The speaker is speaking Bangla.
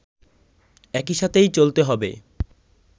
একসাথেই চলতে হবে